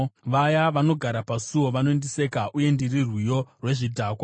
Vaya vanogara pasuo vanondiseka, uye ndiri rwiyo rwezvidhakwa.